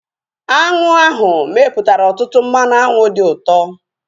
Aṅụ ahu mepụtara ọtụtụ mmanụ aṅụ dị ụtọ